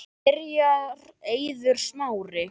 Byrjar Eiður Smári?